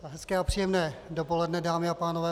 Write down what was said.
Hezké a příjemné dopoledne, dámy a pánové.